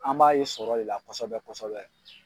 An b'a ye sɔrɔ de la kosɛbɛ kosɛbɛ